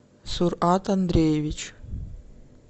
сурат андреевич